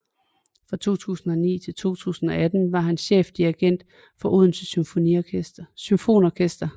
Fra 2009 til 2018 var han chefdirigent for Odense Symfoniorkester